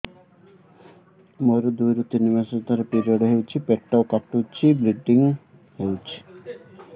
ମୋର ଦୁଇରୁ ତିନି ମାସରେ ଥରେ ପିରିଅଡ଼ ହଉଛି ବହୁତ ପେଟ କାଟୁଛି ବ୍ଲିଡ଼ିଙ୍ଗ ବହୁତ ହଉଛି